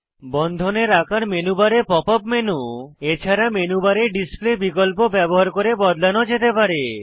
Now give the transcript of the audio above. বন্ধনের আকার মেনু বারে পপ আপ মেনু এছাড়া মেনু বারে ডিসপ্লে বিকল্প ব্যবহার করে বদলানো যেতে পারে